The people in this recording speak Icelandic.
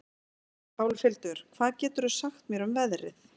Álfhildur, hvað geturðu sagt mér um veðrið?